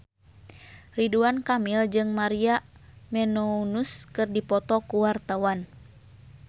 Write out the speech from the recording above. Ridwan Kamil jeung Maria Menounos keur dipoto ku wartawan